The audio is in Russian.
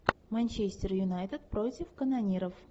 манчестер юнайтед против канониров